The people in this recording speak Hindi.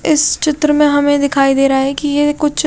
इस चित्र में हमें दिखाई दे रहा है कि ये कुछ--